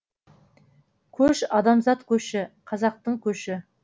көш адамзат көші қазақтың көші